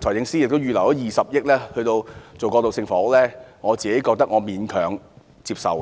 財政司司長亦預留20億元推行過渡性房屋，我認為可以勉強接受。